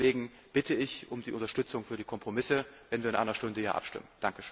Deswegen bitte ich um die Unterstützung für die Kompromisse, wenn wir in einer Stunde hier abstimmen!